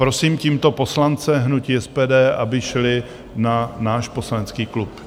Prosím tímto poslance hnutí SPD, aby šli na náš poslanecký klub.